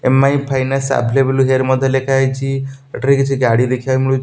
EMI finance available here ମଧ୍ୟ ଲେଖା ହେଇଛି ଏଠାରେ କିଛି ଗାଡି ଦେଖିବାକୁ ମିଳୁ --